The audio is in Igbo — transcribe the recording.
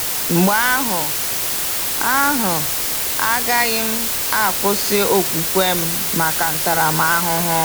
Mgbe ahụ, ahụ, agaghị m akwụsị okwukwe m maka ntaramahụhụ.